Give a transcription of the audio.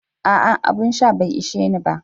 Aa, abun sha bai isheni ba.